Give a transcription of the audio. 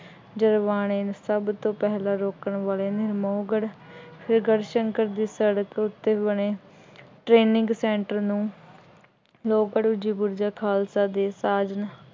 ਜਦੋਂ ਬਾਣੇ ਸਭ ਤੋਂ ਪਹਿਲਾਂ ਰੋਕਣ ਵਾਲੇ ਨੂੰ ਲੋਹਗੜ੍ਹ ਅਤੇ ਗੜ੍ਹਸ਼ੰਕਰ ਦੀ ਸੜਕ ਉੱਤੇ ਬਣੇ training center ਨੂੰ ਰੋਪੜ ਵਿੱਚ ਬੁਰਜ ਖਾਲਸਾ ਦੇ ਰਾਜ ਨੂੰ